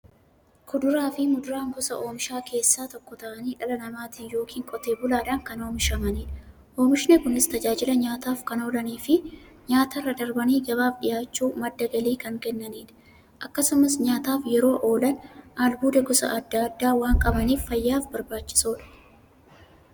Kuduraafi muduraan gosa oomishaa keessaa tokko ta'anii, dhala namaatin yookiin Qotee bulaadhan kan oomishamaniidha. Oomishni Kunis, tajaajila nyaataf kan oolaniifi nyaatarra darbanii gabaaf dhiyaachuun madda galii kan kennaniidha. Akkasumas nyaataf yeroo oolan, albuuda gosa adda addaa waan qabaniif, fayyaaf barbaachisoodha.